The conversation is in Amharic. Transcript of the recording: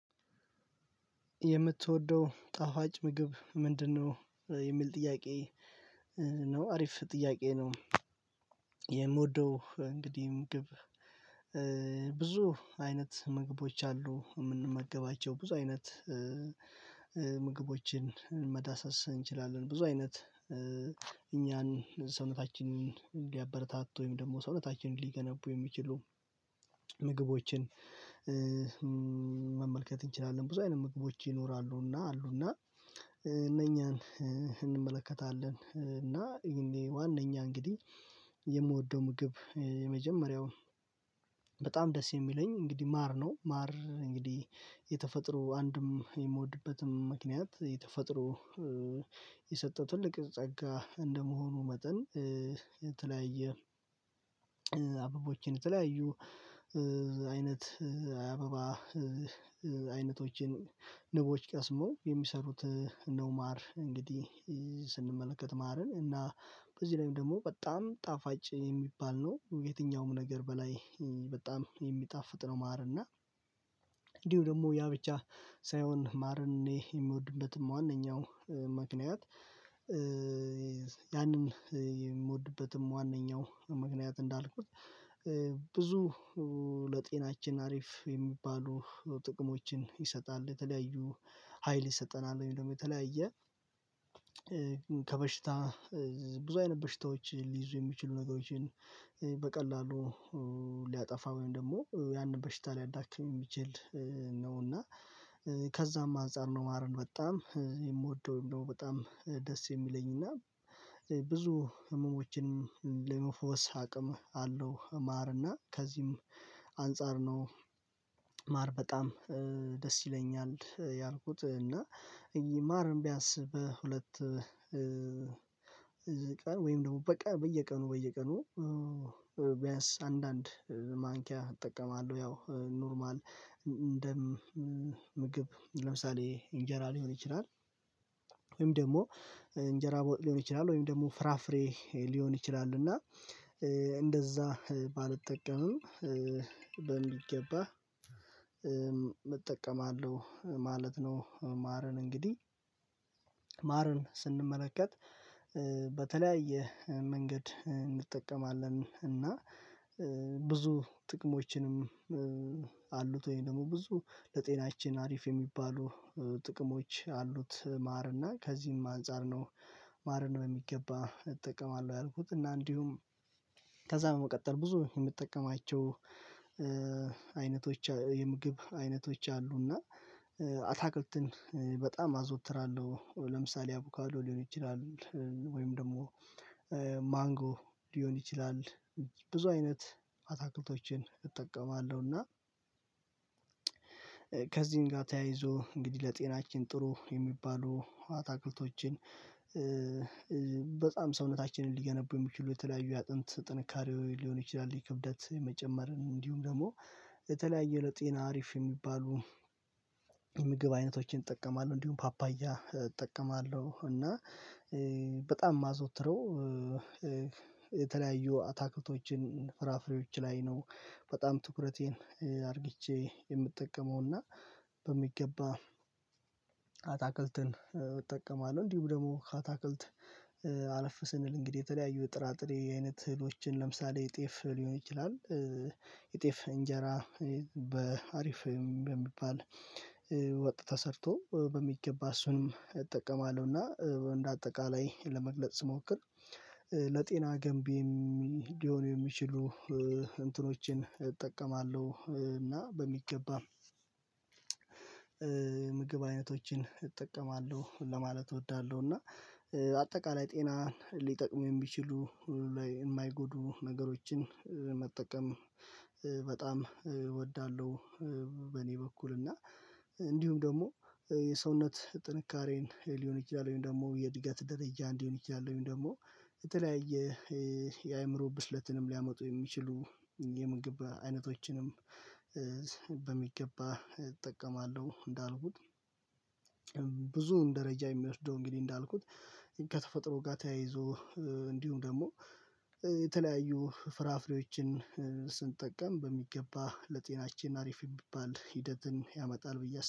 የምትወደው ጣዋጭ ምግብ ምንድነው? የሚል ጥያቄ ነው አሪፍ ጥያቄ ነው። የምወደው እንግዲህ ምግብ ብዙ አይነት ምግቦች አሉ የምንመገባቸው ብዙ አይነት። ምግቦችን መዳሰስ እንችላለን ብዙ አይነት እኛን ሰውነታችንን ሊያበረታቱ ወይም ደግሞ ሰውነታችንን ሊገነቡ የሚችሉ ምግቦችን መመልከት እንችላለን ብዙ አይነት ምግቦች ይኖራሉና አሉና። እነኛን እንመለከታለን እና ዋናኛ እንግዲህ የምወደው ምግብ የመጀመሪያው በጣም ደስ የሚለኝ እንግዲህ ማር ነው። ማር እንግዲህ የተፈጥሮ አንድም የምወድበትም ምክንያት የተፈጥሮ ትልቅ ጸጋ እንደመሆኑ መጠን የተለያየ አበቦችን የተለያዩ አይነት አበባ አይነቶችን ቀስሞ የሚሰሩት ነው። ማር እንግዲህ ስንመለከት ማርን እና በዚህ ላይ ደግሞ በጣም ጣፋጭ የሚባል ነው የትኛውም ነገር በላይ በጣም የሚጣፍጥ ነው። ማርና እና እንዲሁ ደግሞ ያ ብቻ ሳይሆን ማርኔ የሚወድበትም ዋናው ምክንያት ያንን የምወድበትም ዋናው ምክንያት እንዳልኩት ብዙ ለጤናችን አሪፍ የሚባሉ ጥቅሞችን ይሰጣል። ሀይል ይሰጠናል ወይም ደግሞ የተለያየ ከበሽታ ብዙ አይነት በሽታዎች ሊይዙ የሚችሉ ነገሮችን በቀላሉ ሊያጠፋ ወይም ደግሞ ያንን በሽታ አዳክሜ የሚችል ነው እና ከዛም አንፃር ነው። ማርን በጣም የምወደውም ደግሞ በጣም ደስ የሚለኝና ብዙ ህመሞችን ለመፈወስ አቅም አለው ማር እና ከዚህም አንፃር ነው። ማር በጣም ደስ ይለኛል ያልኩት እና ማር ቢያስ በሁለት ቀን ወይም ደግሞ በቃ በየቀኑ በየቀኑ ቢያንስ አንዳንድ ማንኪያ እጠቀማለሁ ያው ኖርማል እንደ ምግብ ለምሳሌ እንጀራ ሊሆን ይችላል። ወይም ደግሞ እንጀራ ቦታ ሊሆን ይችላል ወይም ደግሞ ፍራፍሬ ሊሆን ይችላል እና እንደዛ ባልጠቀምም በሚገባ እጠቀማለሁ ማለት ነው። ማርን እንግዲህ ማርን ስንመለከት በተለያየ መንገድ እንጠቀማለን እና ብዙ ጥቅሞችንም ወይም ደግሞ ብዙ ለጤናችን አሪፍ የሚባሉ ጥቅሞች አሉት ማርና ከዚህም አንፃር ነው። ማርን በሚገባ እጠቀማለሁ ያልኩት እና እንዲሁም ከዛ በመቀጠል ብዙ የምትጠቀማቸው አይነቶች የምግብ አይነቶች አሉና በጣም አዘወትራለሁ ለምሳሌ አቡካዶ ሊሆን ይችላል ወይም ደግሞ ሊሆን ይችላል ብዙ አይነት አታክልቶችን እጠቀማለሁ። እና ከዚህም ጋር ተያይዞ እንግዲህ ለጤናችን ጥሩ የሚባሉ አታክልቶችን በጣም ሰውነታችንን ሊገነቡ የሚችሉ የተለያዩ የአጥንት ጥንካሬው ሊሆን ይችላል የክብደት መጨመር እንዲሁም ደግሞ የተለያየ ለጤና አሪፍ የሚባሉ የምግብ አይነቶችን እጠቀማለሁ። እንዲሁም ፓፓያ እጠቀማለሁ እና በጣም የማዘወትረው የተለያዩ አታክልቶችን ፍራፍሬዎች ላይ ነው በጣም ትኩረቴን አርግቼ የምጠቀመውና በሚገባ አታክልትን እጠቀማለሁ እንዲሁም ደግሞ ካታክልት አለፍ ስንል እንግዲህ የተለያዩ ጥራጥሬ አይነት እህሎችን ለምሳሌ ጤፍ ሊሆን ይችላል የጤፍ እንጀራ በአሪፍ በሚባል ወጥታ ሰርቶ በሚገባ እሱንም እጠቀማለሁና እንደአጠቃላይ ለመግለጽ ስሞክር ለጤና ገንቢ ሊሆን የሚችሉ እንትኖችን እጠቀማለሁ። እና በሚገባ ምግብ አይነቶችን እጠቀማለሁ ለማለት እወዳለሁ እና አጠቃላይ ጤናን ሊጠቅም የሚችሉ ሁሉ ላይ የማይጎዱ ነገሮችን በጣም እወዳለሁ። በእኔ በኩል እና እንዲሁም ደግሞ የሰውነት ጥንካሬን ሊሆን ይችላል ወይም ደግሞ የእድገት ደረጃ እንዲሆን ይችላል ወይም ደግሞ የተለያየ የአእምሮ ብስለትንም ሊያመጡ የሚችሉ የምንገባ አይነቶችንም እጠቀማለሁ። እንዳልኩት ብዙ እንደረጃ የሚወስደው እንግዲህ እንዳልኩት ከተፈጥሮ ጋር ተያይዞ እንዲሁም ደግሞ የተለያዩ ፍራፍሬዎችን ስንጠቀም በሚገባ ለጤናችን አሪፍ የሚባል ሂደትን ያመጣል ብዬ